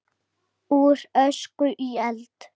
Úr ösku í eld?